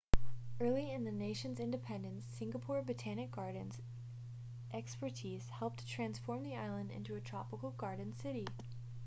early in the nation's independence singapore botanic gardens' expertise helped to transform the island into a tropical garden city